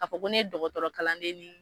Ka fɔ ko ne ye dɔgɔtɔrɔ kalan den di